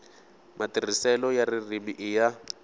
matirhiselo ya ririmi i ya